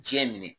Diɲɛ minɛ